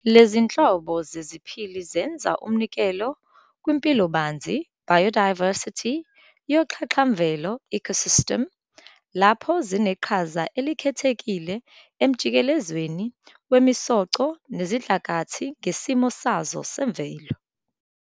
Lezinhlobo zeziphili zenza umnikelo kwimpilobanzi "biodiversity" yoxhaxhamvelo "ecosystem", lapho zineqhaza elikhethekile emjikelezweni wemisoco nesidlakathi ngesimo sazo semvelo.